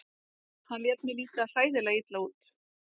Hann lét mig líta hræðilega illa út.